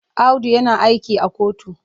Audu yana aiki a kotu.